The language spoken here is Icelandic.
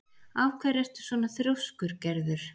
Af hverju ertu svona þrjóskur, Gerður?